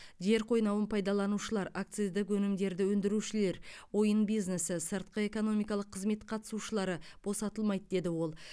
жер қойнауын пайдаланушылар акциздік өнімдерді өндірушілер ойын бизнесі сыртқы экономикалық қызмет қатысушылары босатылмайды деді ол